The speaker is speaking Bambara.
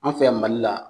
An fɛ yan mali la